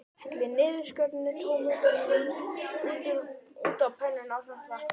Hellið niðurskornu tómötunum út á pönnuna ásamt vatninu.